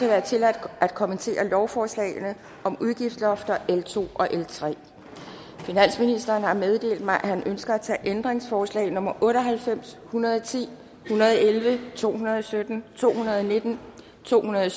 være tilladt at kommentere lovforslagene om udgiftslofter l to og l tredje finansministeren har meddelt mig at han ønsker at tage ændringsforslag nummer otte og halvfems hundrede og ti en hundrede og elleve to hundrede og sytten to hundrede og nitten to hundrede